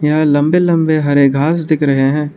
यहां लंबे लंबे हरे घास दिख रहे हैं।